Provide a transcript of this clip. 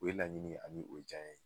O ye laɲini ani o jaɲɛ ye.